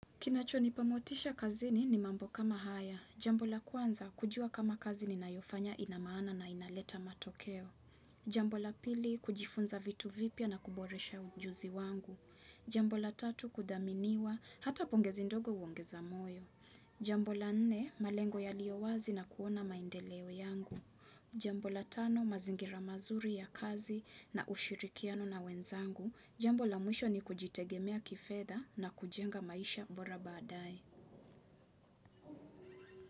Kinacho nipamotisha kazini ni mambo kama haya. Jambo la kwanza, kujua kama kazi ni nayofanya inamaana na inaleta matokeo. Jambo la pili, kujifunza vitu vipya na kuboresha ujuzi wangu. Jambola tatu, kudhaminiwa, hata pongezi ndogo uongeza moyo. Jambola nne, malengo yaliowazi na kuona maendeleo yangu. Jambola tano, mazingira mazuri ya kazi na ushirikiano na wenzangu. Jambo la mwisho ni kujitegemea kifedha na kujenga maisha mbora baadaye.